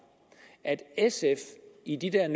at sf i de der